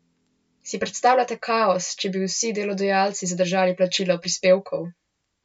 Si predstavljate kaos, če bi vsi delodajalci zadržali plačilo prispevkov?